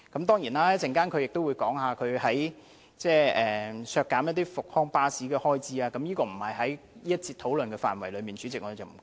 當然，他稍後亦會就削減復康巴士的開支發言，但這並不屬於這一節的討論範圍，主席，我們暫且不談。